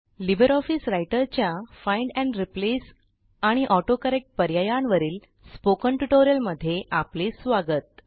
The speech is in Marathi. लिबर ऑफिस रायटरच्या फाइंड एंड रिप्लेस आणि ऑटोकरेक्ट पर्यायांवरील स्पोकन ट्युटोरियलमध्ये आपले स्वागत